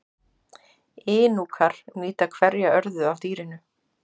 Inúkar nýta hverja örðu af dýrinu.